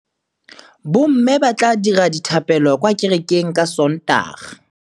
Bommê ba tla dira dithapêlô kwa kerekeng ka Sontaga.